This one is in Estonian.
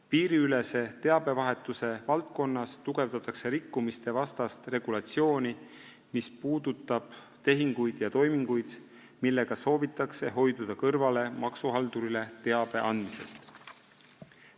Piiriülese teabevahetuse valdkonnas tugevdatakse rikkumiste vastast regulatsiooni, mis puudutab tehinguid ja toiminguid, millega soovitakse hoiduda kõrvale maksuhaldurile teabe andmisest.